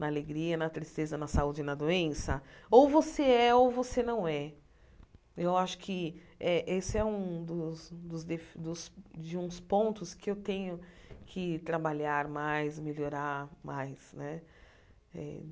Na alegria, na tristeza, na saúde e na doença, ou você é ou você não é. Eu acho que eh esse é um dos dos defe dos de uns pontos que eu tenho que trabalhar mais, melhorar mais, né? Eh